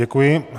Děkuji.